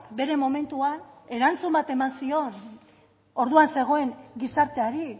bere momentuan erantzun bat eman zion orduan zegoen gizarteari